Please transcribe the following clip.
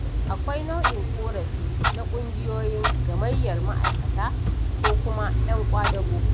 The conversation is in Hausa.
Akwai nau'in ƙorafi na ƙungiyoyin gamayyar ma'aikata ko kuma'yan ƙwadago.